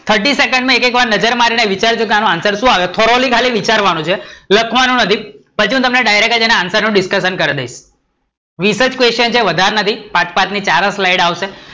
Thirty second માં એક એક વાર નજર મારી ને વિચારી, કે આનો answer શું આવે? foroly વિચારવાનું છે લખવાનું નથી, પછી direct અને answerdiscussion કરી દઈશ, વિસ જ છે પાંચ -પાંચ ની ચાર slide આવશે